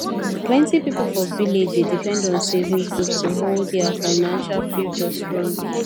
plenty people for village dey depend on savings group to hold their financial future strong